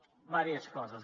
diverses coses